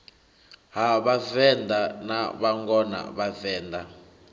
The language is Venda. ha vhavenḓa na vhangona vhavenḓa